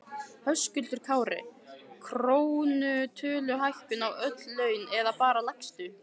Höskuldur Kári: Krónutöluhækkun á öll laun eða bara lægstu?